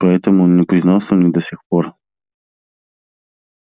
поэтому он и не признался мне до сих пор